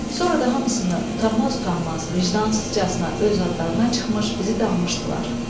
Sonra da hamısını utanmaz-utanmaz, vicdansızcasına öz adlarına çıxmış, bizi danmışdılar.